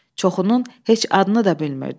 Çoxunun heç adını da bilmirdi.